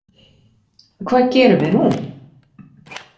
Hvað gerum við nú?